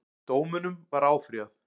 Dómunum var áfrýjað